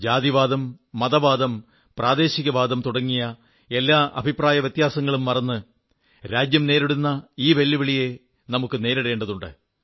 ജാതിവാദം മതവാദം പ്രാദേശികവാദം തുടങ്ങിയ എല്ലാ അഭിപ്രായവ്യത്യാസങ്ങളും മറന്ന് രാജ്യം നേരിടുന്ന ഈ വെല്ലുവിളിയെ നമുക്കു നേരിടേണ്ടതുണ്ട്